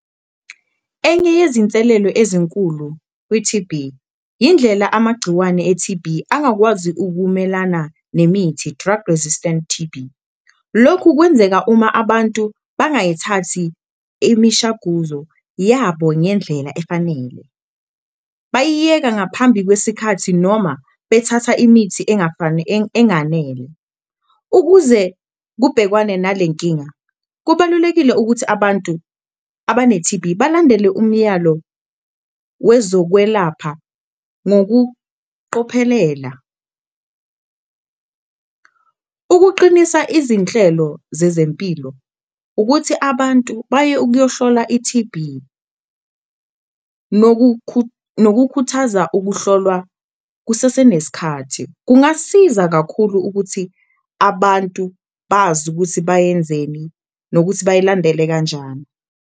Enye yezinselelo ezinkulu kwi-T_B indlela amagciwane e-T_B angakwazi ukumelana nemithi, drug-resistant T_B, lokhu kwenzeka uma abantu bangayithathi imishaguzo yabo ngendlela efanele, bayiyeka ngaphambi kwesikhathi noma bethatha imithi enganele. Ukuze kubhekwane nale nkinga, kubalulekile ukuthi abantu abane-T_B balandele umyalo wezokwelapha ngokuqophelela, ukuqinisa izinhlelo zezempilo, ukuthi abantu baye ukuyohlolwa i-T_B. Nokukhuthaza ukuhlolwa kusaseneskhathi, kungasiza kakhulu ukuthi abantu bazi ukuthi bayenzeni nokuthi bayilandele kanjani.